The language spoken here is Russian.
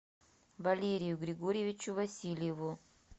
валерию григорьевичу васильеву